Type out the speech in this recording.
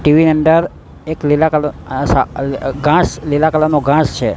TV ની અંદર એક લીલા કલર ઘાંસ લીલા કલર નુ ઘાંસ છે.